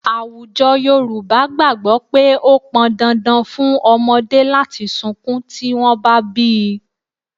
Àwùjọ Yorùbá gbàgbọ́ pé ó pọn dandan fún ọmọdé láti sunkún tí wọ́n bá bí í